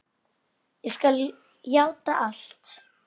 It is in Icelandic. Ég skal játa allt.